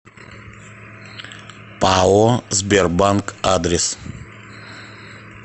пао сбербанк адрес